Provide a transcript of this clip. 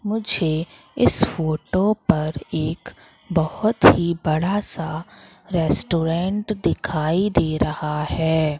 मुझे इस फोटो पर एक बहुत ही बड़ा सा रेस्टोरेंट दिखाई दे रहा है।